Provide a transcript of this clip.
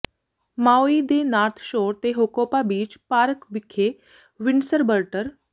Maui ਦੇ North Shore ਤੇ Hookipa beach park ਵਿਖੇ ਵਿੰਡਸਰਬਰਟਰ